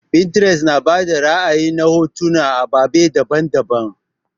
Pinterest na bada ra'ayi na hotuna na ababe daban-daban.